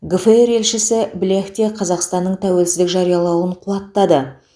гфр елшісі блех те қазақстанның тәуелсіздік жариялауын қуаттады